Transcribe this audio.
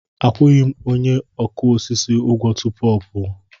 Akwụghị m onye ọkụ osisi ụgwọ tupu m pụọ.